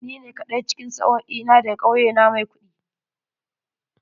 Ni ne kaɗai cikin sa'o'i na da ga kauye na mai kuɗi.